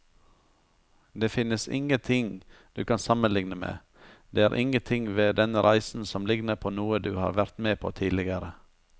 Det finnes ingenting du kan sammenligne med, det er ingenting ved denne reisen som ligner på noe du har vært med på tidligere.